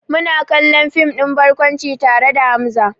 Muna kallon fim ɗin barkwanci tare da Hamza.